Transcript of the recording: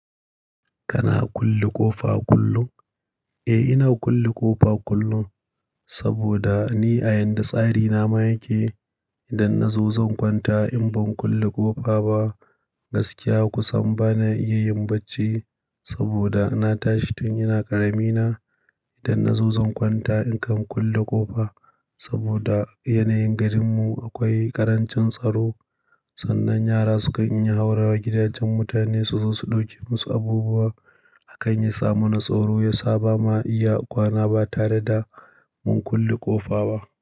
Kana kulle ƙofa kullum? Eh, ina kulle ƙofa kullum saboda ni a yadda tsari na ma yake, idan na zo zan kwanta in ban kulle ƙofa ba gaskiya kusan bana iya yin bacci saboda na tashi tun yana ƙarami na. Idan na zo zan kwanta in kan kulle ƙofa saboda a yanayin garinmu akwai ƙarancin tsaro sannan yara sukan iya haurawa gidajen mutane suzo su ɗauke musu abubuwa. Hakan ya sa mu na tsoro, ya saba ma iya kwana ba tare da mun kulle ƙofa ba.